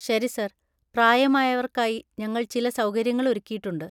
ശരി, സർ. പ്രായമായവർക്കായി ഞങ്ങൾചില സൗകര്യങ്ങള്‍ ഒരുക്കിയിട്ടുണ്ട്.